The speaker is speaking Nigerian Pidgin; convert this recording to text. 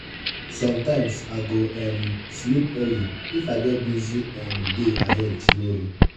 sometimes i go um sleep early if i get busy um day ahead tomorrow.